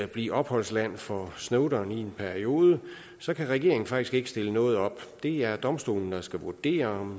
blive opholdsland for snowden i en periode så kan regeringen faktisk ikke stille noget op det er domstolene der skal vurdere om